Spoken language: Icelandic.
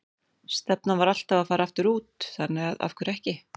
Stefnan var alltaf að fara aftur út, þannig að af hverju ekki?